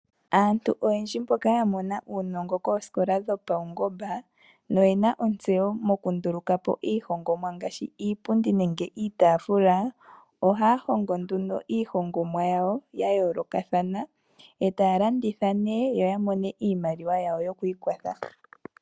Aantu oyendji mboka ya mona uunongo koosikola dhopawu ngomba noyena ontseyo moku ndulukapo iihongomwa ngaashi iipundi nenge iitafula, ohaya hongo iihongomwa yawo ya yoolokathana etaya landitha yo ya mone iimaliwa yawo yokwi ikwatha.